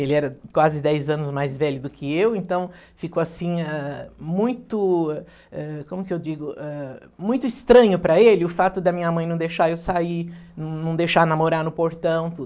Ele era quase dez anos mais velho do que eu, então ficou assim, ãh, muito, eh, como eu digo, eh, estranho para ele o fato da minha mãe não deixar eu sair, não não deixar namorar no portão, tudo.